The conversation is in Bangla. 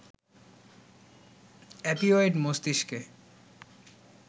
অপিওয়েড মস্তিষ্কে